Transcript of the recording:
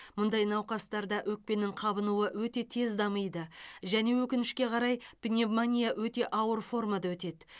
мұндай науқастарда өкпенің қабынуы өте тез дамиды және өкінішке қарай пневмония өте ауыр формада өтеді